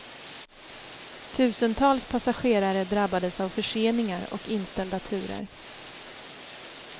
Tusentals passagerare drabbades av förseningar och inställda turer.